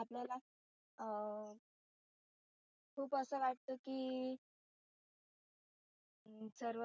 आपल्याला अं खुप असं वाटते की सर्व